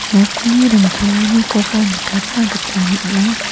nokni rongtalanikoba nikatna gita man·a.